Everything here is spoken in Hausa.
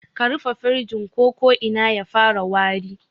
Ka rufe firijin ko ko'ina ya fara wari